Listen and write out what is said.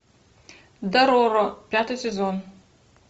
дороро пятый сезон